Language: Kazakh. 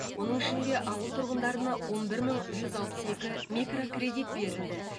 оның ішінде ауыл тұрғындарына он бір бір жүз алпыс екі микрокредит берілді